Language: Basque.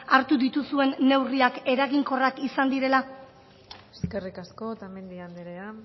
hartu dituzuen neurriak eraginkorrak izan direla eskerrik asko otamendi anderea